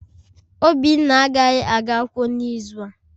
Obinna agaghị aga akwụkwọ n'izu a